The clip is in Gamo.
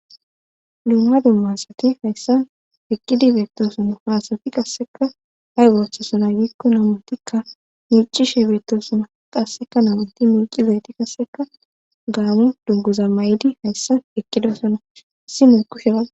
luuma dummasati hayssa eqqidi beettosuna haasati qasseka hay ooththesona giikko namuntikka miicishe beettosuna qasseka namunti mulqizayti qasseka gaamu dunguza may7di hayssa eqqidesona issi mee kushepaz